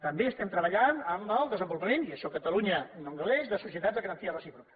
també estem treballant en el desenvolupament i d’això catalunya no en gaudeix de societats de garantia recíproca